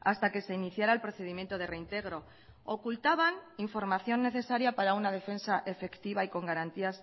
hasta que se iniciará el procedimiento de reintegro ocultaban información necesaria para una defensa efectiva y con garantías